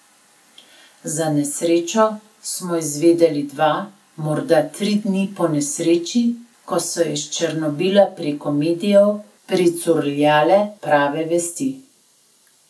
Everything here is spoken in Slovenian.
Za nesrečo smo izvedeli dva, morda tri dni ponesreči, ko so iz Černobila preko medijev pricurljale prve vesti.